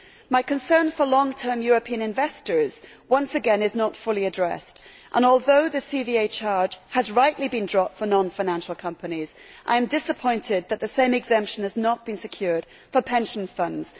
My concern for long term European investors is once again not fully addressed, and although the CVA charge has rightly been dropped for non financial companies, I am disappointed that the same exemption has not been secured for pension funds.